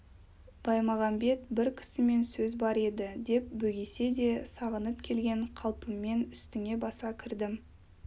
баймағамбет бір кісімен сөз бар еді деп бөгесе де сағынып келген қалпыммен үстіңе баса кірдім